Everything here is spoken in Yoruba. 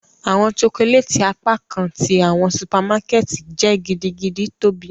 Awọn chocolate apakan ti awọn supermarket jẹ gidigidi tobi